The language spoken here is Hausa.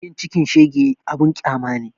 Yin cikin shege abun ƙyama ne